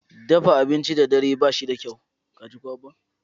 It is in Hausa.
Dafa abinci da dare ba shi da kyau.